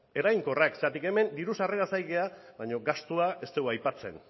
eraginkorrak zeren hemen diru sarreraz ari gara baina gastua ez dugu aipatzen